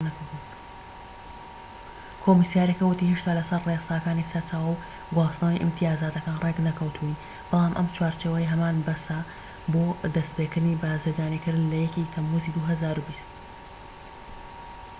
کۆمسیارەکە ووتی هێشتا لە سەر ڕێساکانی سەرچاوە و گواستنەوەی ئیمتیازاتەکان ڕێک نەکەوتووین بەڵام ئەم چوارچێوەیەی هەمانە بەسە بۆ دەستپێكردنی بازرگانیکردن لە 1ی تەموزی 2020